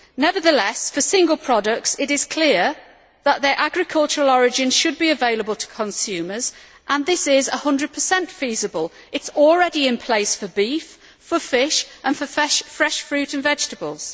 Nevertheless, for single products, it is clear that their agricultural origin should be available to consumers and this is 100 feasible. It is already in place for beef, for fish, and for fresh fruit and vegetables.